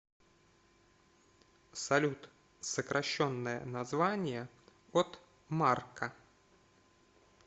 салют сокращенное название от марка